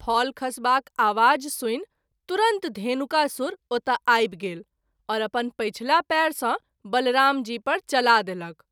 फल खसबाक आबाज सुनि तुरंत धेनुकासुर ओतय आबि गेल आओर अपन पछिला पैर सँ बलराम जी पर चला देलक।